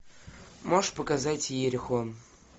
можешь показать иерихон